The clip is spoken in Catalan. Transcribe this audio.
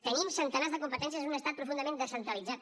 tenim centenars de competències en un estat profundament descentralitzat